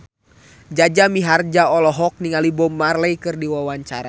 Jaja Mihardja olohok ningali Bob Marley keur diwawancara